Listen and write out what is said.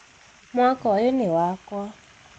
mwaka ũyũ ni wakwa